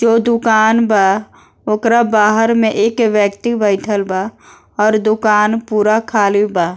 जो दूकान बा ओकरा बाहर में एक व्यक्ति बैठल बा और दूकान पूरा खाली बा।